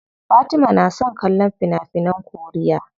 Fatima na son kallon fina finan koriya.